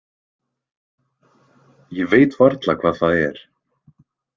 Ég veit varla hvað það er.